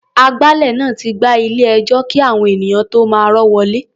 Agbálẹ̀ náà ti gbá ilé-ẹjọ́ kí àwọn ènìyàn tó máa rọ́ wọlé.